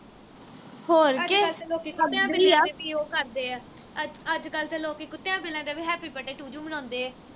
ਅੱਜ ਕੱਲ ਤੇ ਲੋਕੀ ਕੁੱਤਿਆਂ ਬਿੱਲਿਆ ਦੇ ਵੀ ਉਹ ਕਰਦੇ ਆ ਅੱਜ ਅੱਜ ਕੱਲ ਤੇ ਲੋਕੀ ਕੁੱਤਿਆਂ ਬਿੱਲਿਆ ਦਾ ਵੀ happy birthday to you ਮਨਾਉਦੇ ਆ